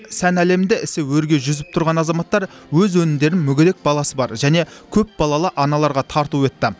сән әлемінде ісі өрге жүзіп тұрған азаматтар өз өнімдерін мүгедек баласы бар және көпбалалы аналарға тарту етті